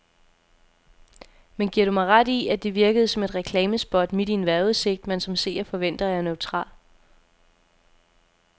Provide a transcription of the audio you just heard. Men giver du mig ret i, at det virkede som et reklamespot midt i en vejrudsigt, man som seer forventer er neutral.